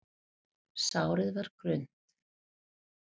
Sárið var grunnt.